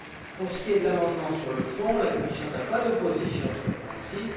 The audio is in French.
Pour ce qui est de l'amendement sur le fond, la Commission n'a pas d'opposition sur le principe.